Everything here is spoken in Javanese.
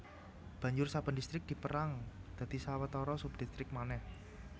Banjur saben distrik dipérang dadi sawetara subdistrik manèh